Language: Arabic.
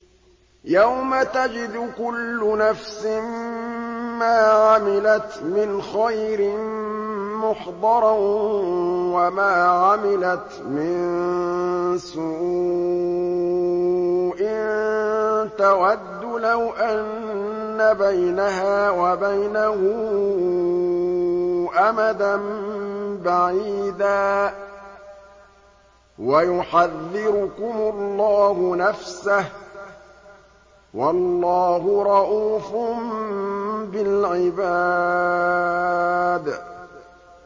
يَوْمَ تَجِدُ كُلُّ نَفْسٍ مَّا عَمِلَتْ مِنْ خَيْرٍ مُّحْضَرًا وَمَا عَمِلَتْ مِن سُوءٍ تَوَدُّ لَوْ أَنَّ بَيْنَهَا وَبَيْنَهُ أَمَدًا بَعِيدًا ۗ وَيُحَذِّرُكُمُ اللَّهُ نَفْسَهُ ۗ وَاللَّهُ رَءُوفٌ بِالْعِبَادِ